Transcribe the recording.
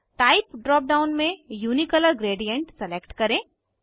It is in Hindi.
टाइप ड्राप डाउन में यूनिकलर ग्रेडिएंट सलेक्ट करें